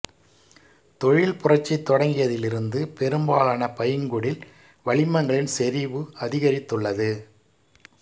தொழில் புரட்சி தொடங்கியதிலிருந்து பெரும்பாலான பைங்குடில் வளிமங்களின் செறிவு அதிகரித்துள்ளது